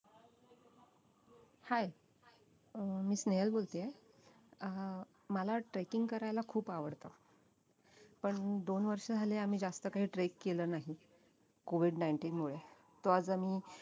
hi अं मी स्नेहल बोलतेय अं मला trekking करायला खूप आवडतं पण दोन वर्ष झाले आम्ही जास्त काही trek केलं नाही COVID nineteen मुळे तो आज आम्ही